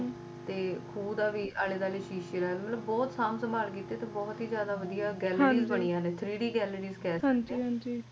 ਤੇ ਖੂਹ ਦੇ ਵੀ ਆਲੇ ਦੁਆਲੇ ਸ਼ੀਸ਼ੇ ਲਾਏ ਹੋਏ ਨੇ ਬਹੁਤ ਸਾਂਭ ਸੰਭਾਲ ਕੀਤੀ ਤੇ ਬਹੁਤ ਹੀ ਜਾਦਾ ਵਦੀਆ gallery ਵੀ ਬਣੀ ਹੋਈ ਏ three d gallery ਵੀ ਬਣੀ ਹੋਈ ਏ